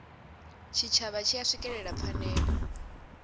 tshitshavha tshi a swikelela phanele